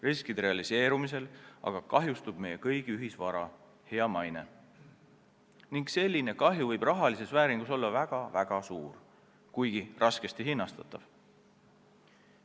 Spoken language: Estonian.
Riskide realiseerumisel kahjustub meie kõigi ühisvara, meie hea maine, ning selline kahju võib rahalises vääringus olla väga-väga suur, kuigi raskesti hinnatav.